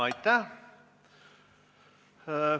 Aitäh!